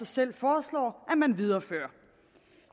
selv foreslår man viderefører